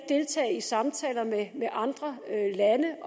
deltage i samtaler med andre lande